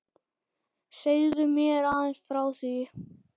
Segðu mér aðeins frá því.